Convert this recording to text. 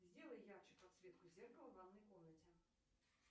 сделай ярче подсветку в ванной комнате